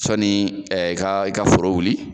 Sɔni ɛ i ka i ka foro wuli